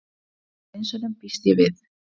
Hluti af hreinsunum, býst ég við.